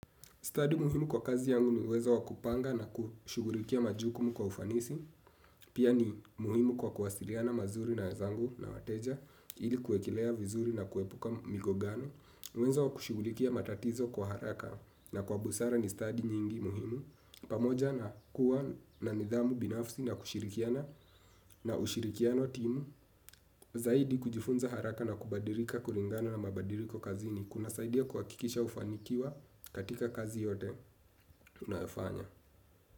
Stadi muhimu kwa kazi yangu ni uwezo wakupanga na kushugulikia majukumu kwa ufanisi. Pia ni muhimu kwa kuwasiliana mazuri na wenzangu na wateja, ili kuekelea vizuri na kuepuka migogano. Uwezo wakushugulikia matatizo kwa haraka na kwa busara ni stadi nyingi muhimu. Pamoja na kuwa na nidhamu binafsi na kushirikiana na ushirikiano timu. Zaidi kujifunza haraka na kubadirika kuringana na mabadiriko kazi ni kuna saidia kuha kikisha ufanikiwa katika kazi yote tunayofanya.